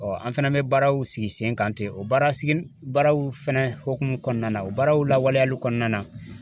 Ɔɔ an fɛnɛ be baaraw sigi sen kan ten o baaraw sigi baaraw fɛnɛ hokumu kɔnɔna na o baaraw lawaleyali kɔnɔna na